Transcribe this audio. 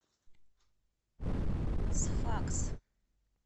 сфакс